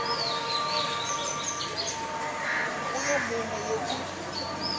go yo mongwe yo ke